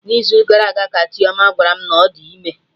N'izu gara aga ka Chioma gwara mụ na ọ dị ime